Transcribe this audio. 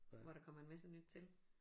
Hvor der kommer en masse nyt til